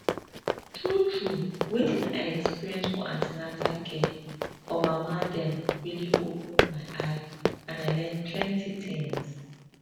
true true wetin i experience for an ten atal care for mama dem really open my eye and i learn plenty things